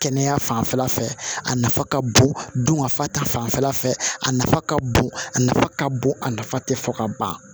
Kɛnɛya fanfɛla fɛ a nafa ka bon don ka fa ta fanfɛla fɛ a nafa ka bon a nafa ka bon a nafa tɛ fɔ ka ban